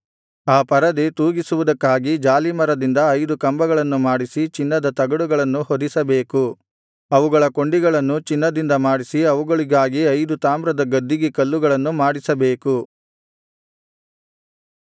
ಆ ಪರದೆ ತೂಗಿಸುವುದಕ್ಕಾಗಿ ಜಾಲೀಮರದಿಂದ ಐದು ಕಂಬಗಳನ್ನು ಮಾಡಿಸಿ ಚಿನ್ನದ ತಗಡುಗಳನ್ನು ಹೊದಿಸಬೇಕು ಅವುಗಳ ಕೊಂಡಿಗಳನ್ನು ಚಿನ್ನದಿಂದ ಮಾಡಿಸಿ ಅವುಗಳಿಗಾಗಿ ಐದು ತಾಮ್ರದ ಗದ್ದಿಗೆ ಕಲ್ಲುಗಳನ್ನು ಮಾಡಿಸಬೇಕು